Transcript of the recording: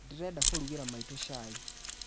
Ndĩrenda kũrugĩra maitũ cai?